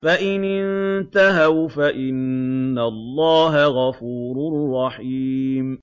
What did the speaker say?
فَإِنِ انتَهَوْا فَإِنَّ اللَّهَ غَفُورٌ رَّحِيمٌ